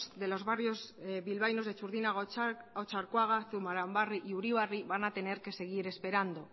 de los barrios bilbaínos de txurdinaga otxarkoaga zurbaranbarri y uribarri van a tener que seguir esperando